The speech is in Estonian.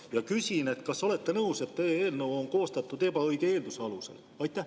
Ja küsin: kas olete nõus, et eelnõu on koostatud ebaõige eelduse alusel?